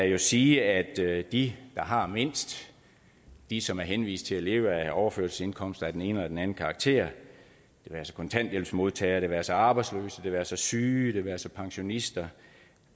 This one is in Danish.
jo sige at de der har mindst de som er henvist til at leve af overførselsindkomster af den ene eller den anden karakter det være sig kontanthjælpsmodtagere det være sig arbejdsløse det være sig syge det være sig pensionister